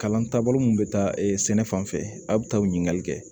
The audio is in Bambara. Kalan taabolo mun bɛ taa sɛnɛ fan fɛ a bɛ taa o ɲininkali kɛ